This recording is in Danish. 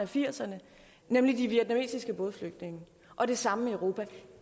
firserne nemlig de vietnamesiske bådflygtninge og det samme i europa